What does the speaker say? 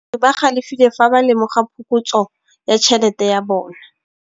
Badiri ba galefile fa ba lemoga phokotsô ya tšhelête ya bone.